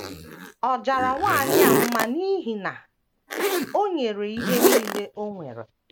Ọ jara nwanyị a mma n’ihi na o nyere ihe nile o nwere.